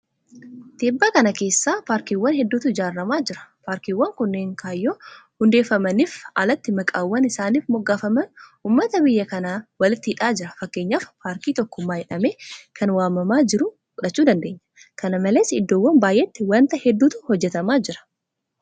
Tibba kana keessa paarkiiwwan hedduutu ijaaramaa jira. Paarkiiwwan kunneen kaayyoo hundeeffamaniif alatti maqaawwan isaaniif moggaafaman uummata biyya kanaa walitti hidhaa jira. Fakkeenyaaf paarkii tokkummaa jedhamee kan waamamaa jiru fudhachuu dandeenya. kana malees iddoowwan baay'eetti waanta hedduutu hojjetamaa jira.